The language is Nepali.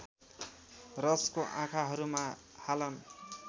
रसको आँखाहरूमा हालन